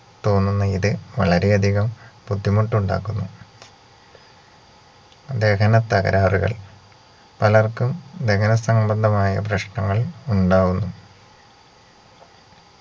തോന്നുന്ന ഇത് വളരെ അതികം ബുദ്ധിമുട്ടുണ്ടാക്കുന്നു ദഹന തകരാറുകൾ പലർക്കും ദഹന സംബന്ധമായ പ്രശ്നങ്ങൾ ഉണ്ടാവുന്നു